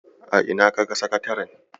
A ina kaga sakataren?